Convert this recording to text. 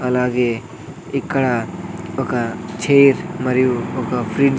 అలాగే ఇక్కడ ఒక చైర్ మరియు ఒక ఫ్రీ--